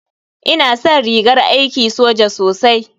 Ina san rigar aiki soja sosai.